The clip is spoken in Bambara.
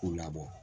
K'u labɔ